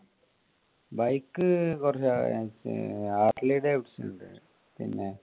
bike Harley Davidson ഉണ്ട്. പിന്നെ